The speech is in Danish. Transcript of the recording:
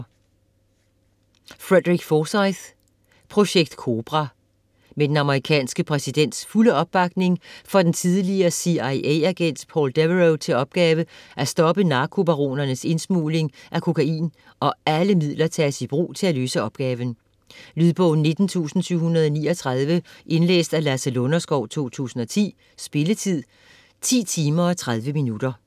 Forsyth, Frederick: Projekt Cobra Med den amerikanske præsidents fulde opbakning får den tidligere CIA-agent Paul Devereaux til opgave at stoppe narkobaronernes indsmugling af kokain, og alle midler tages i brug til at løse opgaven. Lydbog 19739 Indlæst af Lasse Lunderskov, 2010. Spilletid: 10 timer, 30 minutter.